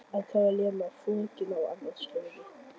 En þá er Lena fokin á aðrar slóðir.